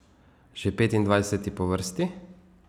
Že petindvajseti po vrsti.